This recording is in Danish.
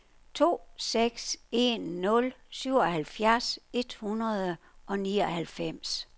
to seks en nul syvoghalvtreds et hundrede og nioghalvfems